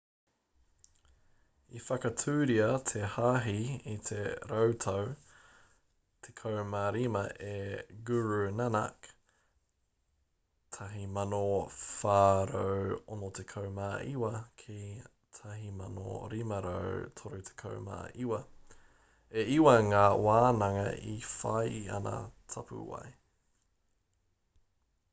i whakatūria te hāhi i te rautau 15 e guru nanak 1469-1539. e iwa ngā wānanga i whai i ana tapuwae